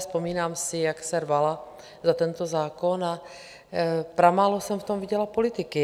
Vzpomínám si, jak se rvala za tento zákon, a pramálo jsem v tom viděla politiky.